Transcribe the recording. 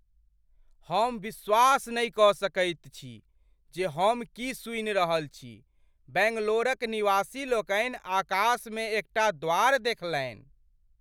हम विश्वास नहि कऽ सकैत छी जे हम की सुनि रहल छी! बैंगलोरक निवासीलोकनि आकाशमे एकटा द्वार देखलनि!